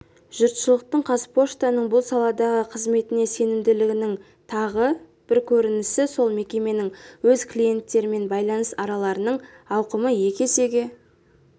жұртшылықтың қазпоштаның бұл саладағы қызметіне сенімділігінің тағы бір көрінісі сол мекеменің өз клиенттерімен байланыс арналарының ауқымы екі есеге